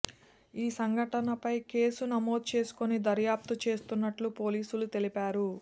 ఈ సంఘటనపై కేసు నమోదు చేసుకుని దర్యాప్తు చేస్తున్నట్లు పోలీసులు తెలిపారు